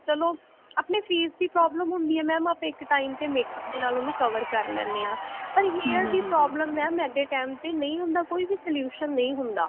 ਆਪਨੇ face ਦੀ problem ਹੁੰਦੀ ਹੈ mam ਆਪਾਂ ਇੱਕ time ਤੇ mam ਆਪਾਂ makeup ਦੇ ਨਾਲ ਉਹਨੂੰ cover ਕਰ ਲੈਂਦੇ ਹਾਂ ਪਰ hair ਦੀ problem ਆ mam at a time ਤੇ ਨਹੀਂ ਹੁੰਦਾ ਕੋਈ ਵੀ solution ਨਹੀਂ ਹੁੰਦਾ